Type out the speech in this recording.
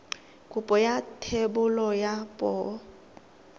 kopo ya thebolo ya poo